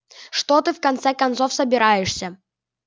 что ты в конце концов собираешься